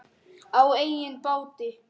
Á eigin báti.